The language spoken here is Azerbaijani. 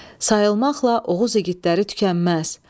Sayılmaqla Oğuz igidləri tükənməz.